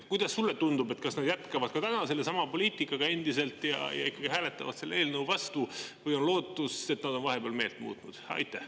Kuidas sulle tundub, kas nad jätkavad ka täna endiselt sellesama poliitikaga ja ikkagi hääletavad selle eelnõu vastu või on lootust, et nad on vahepeal meelt muutnud?